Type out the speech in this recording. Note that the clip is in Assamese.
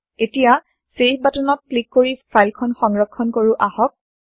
এতিয়া চেভ বাটন ত ক্লিক কৰি ফাইল খন সংৰক্ষণ কৰো আহক